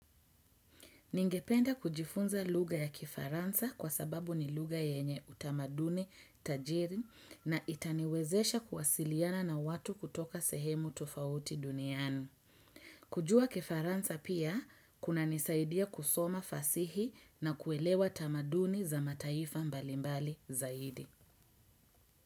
Ningependa kujifunza lugha ya kifaransa kwa sababu ni lugha yenye utamaduni tajiri na itaniwezesha kuwasiliana na watu kutoka sehemu tofauti duniani. Kujua kifaransa pia, kunanisaidia kusoma fasihi na kuelewa tamaduni za mataifa mbalimbali zaidi.